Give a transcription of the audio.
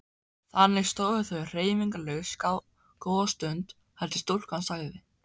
Þannig stóðu þau hreyfingarlaus góða stund þar til stúlkan sagði